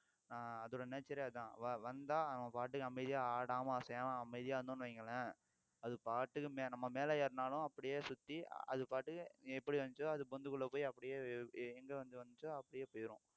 ஆஹ் அதோட nature ஏ அதான் வந்தா அவங்க பாட்டுக்கு அமைதியா ஆடாம அசையாம அமைதியா இருந்தோம்னு வையுங்களேன் அது பாட்டுக்கு நம்ம மேல ஏறினாலும் அப்படியே சுத்தி அது பாட்டுக்கு எப்படி வந்துச்சோ அது பொந்துக்குள்ள போய் அப்படியே எங்க வந்து வந்துச்சோ அப்படியே போயிரும்